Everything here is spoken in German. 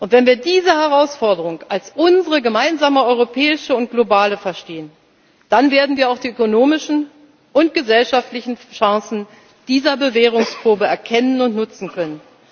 sind. Wenn wir diese Herausforderung als unsere gemeinsame europäische und globale verstehen, dann werden wir auch die ökonomischen und gesellschaftlichen Chancen dieser Bewährungsprobe erkennen und nutzen